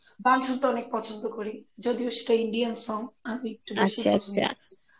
আর গান শুনতে অনেক পছন্দ করি যদিও সেটা Indian song আমি একটু বেশী পছন্দ করি